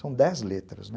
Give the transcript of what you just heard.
São dez letras, né?